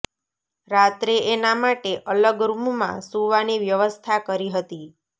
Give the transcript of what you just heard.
રાત્રે એના માટે અલગ રૂમમાં સુવાની વ્યવસ્થા કરી હતી